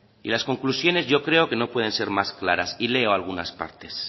y las conclusiones yo creo que no pueden ser más claras y leo algunas partes